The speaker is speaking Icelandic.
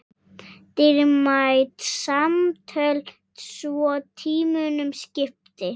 Dýrmæt samtöl svo tímunum skipti.